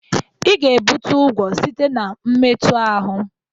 Ị ga-ebute ụgwọ site na mmetu ahụ.